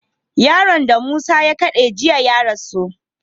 Yaron da musa ya kade jiya ya rasu